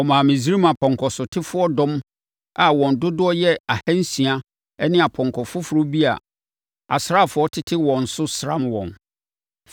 Ɔmaa Misraim apɔnkɔsotefoɔ dɔm a wɔn dodoɔ yɛ ahansia ne apɔnkɔ foforɔ bi a asraafoɔ tete wɔn so sram wɔn.